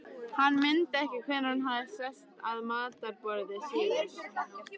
Hann mundi ekki hvenær hann hafði sest að matarborði síðast.